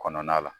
Kɔnɔna la